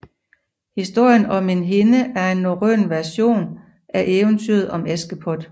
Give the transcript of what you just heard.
Historien om en hende er en norrøn version af eventyret om Askepot